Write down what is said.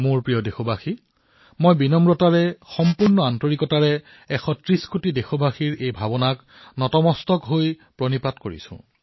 মোৰ মৰমৰ দেশবাসীসকল মই সম্পূৰ্ণ নম্ৰতাৰে অতিশয় আদৰেৰে আজি ১৩০ কোটি দেশবাসীৰ এই ভাৱনাক শিৰ দোৱাই সেৱা কৰিছো